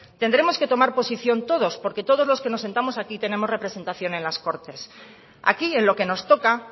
tendremos que tomar posición todos porque todos los que nos sentamos aquí tenemos representación en las cortes aquí en lo que nos toca